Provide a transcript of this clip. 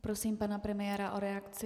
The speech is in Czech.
Poprosím pana premiéra o reakci.